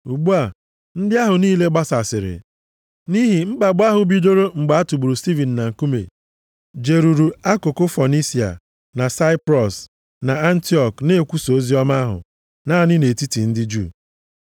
Ugbu a, ndị ahụ niile gbasasịrị nʼihi mkpagbu ahụ bidoro mgbe a tụgburu Stivin na nkume, jeruru akụkụ Fonisia na Saiprọs na Antiọk na-ekwusa oziọma ahụ naanị nʼetiti ndị Juu.